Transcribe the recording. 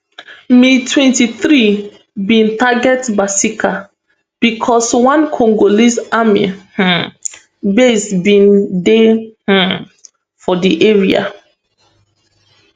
mtwenty-three bin target kasika becos one congolese army um base bin dey um for di area